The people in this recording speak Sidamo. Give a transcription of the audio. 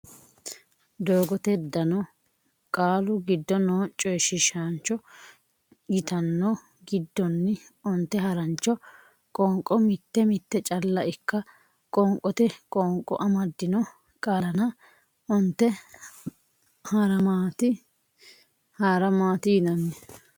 doogote dano Qaalu giddo noo coyshiishaancho yitanno giddonni onte harancho qoonqo mitte mitte calla ikka qoonqote qoonqo amaddino qaallanna onte haara maati yinanni.